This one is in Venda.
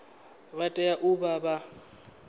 vha tea u vha vha